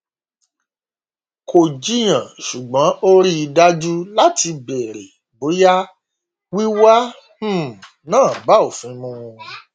kò jiyàn ṣùgbọn ó rí i dájú láti bèrè bóyá wíwá um náà bá òfin mu